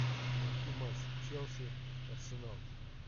найти матч челси арсенал